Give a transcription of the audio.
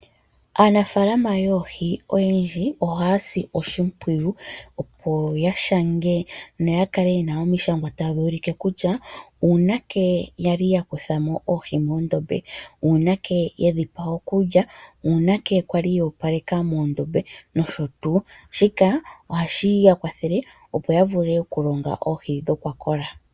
Aanafaalama yoohi oyendji ohaya si oshimpwiyu opo yashange noya kale yena omishangwa tadhi ulike kutya uunake yali yakuthamo oohi muudhiya, uunake yedhipa okulya, uunake kwali ya opaleka muudhiya nosho tuu . Shika ohashi ya kwathele opo yavule okulonga oohi dhakola.